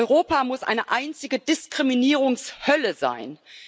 Europa muss eine einzige Diskriminierungshölle sein.